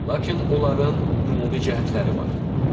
Lakin onların ümumi cəhətləri var.